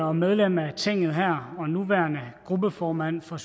og medlem af tinget her og nuværende gruppeformand for